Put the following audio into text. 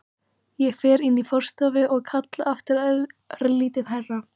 Ég fer inn í forstofuna og kalla aftur, örlítið hærra.